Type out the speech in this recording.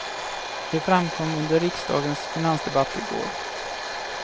Det framkom under riksdagens finansdebatt i går.